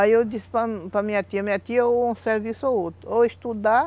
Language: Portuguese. Aí eu disse para para minha tia, minha tia ou um serviço ou outro, ou estudar,